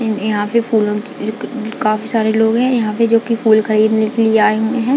यह यहाँ पे फूलो की काफी सारे लोग हैं यहाँ पे जो की फूल खरीदने के लिए आए हुए हैं।